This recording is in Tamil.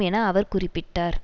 என அவர் குறிப்பிட்டார்